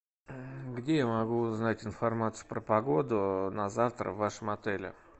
где я могу узнать информацию про погоду на завтра в вашем отеле